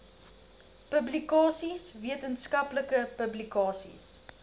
publikasies wetenskaplike publikasies